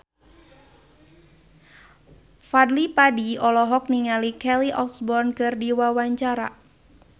Fadly Padi olohok ningali Kelly Osbourne keur diwawancara